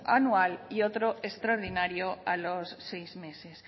anual y otro extraordinario a los seis meses